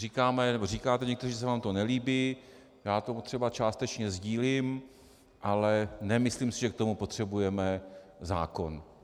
Říkáte někteří, že se vám to nelíbí, já to třeba částečně sdílím, ale nemyslím si, že k tomu potřebujeme zákon.